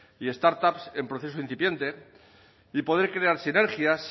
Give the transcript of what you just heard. y startups en proceso incipiente y poder crear sinergias